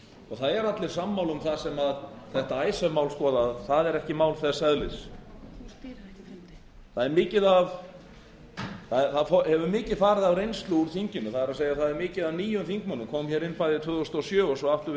og það eru allir sammála um það sem þetta icesave mál skoða að það er ekki mál þess eðlis það hefur mikið farið af reynslu úr þinginu það er það er mikið af nýjum þingmönnum komu inn bæði tvö þúsund og sjö og svo aftur við